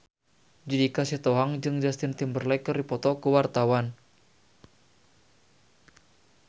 Judika Sitohang jeung Justin Timberlake keur dipoto ku wartawan